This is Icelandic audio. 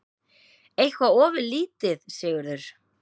Eitthvað ofurlítið, Sigurður?